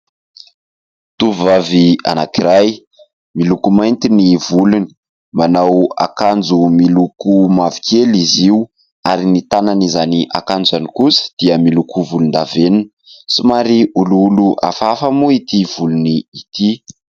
Tovovavy anankiray, miloko mainty ny volony, manao akanjo miloko mavokely izy io ary ny tanan'izany akanjo izany kosa dia miloko volondavenona. Somary olioly hafahafa moa ity volony ity.